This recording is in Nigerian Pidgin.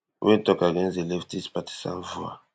wey tok against di leftist partisan VOA